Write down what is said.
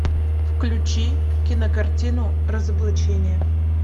включи кинокартину разоблачение